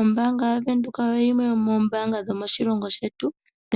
Ombaanga yaWindhoek oyo yimwe yomombaanga dhomoshilongo shetu,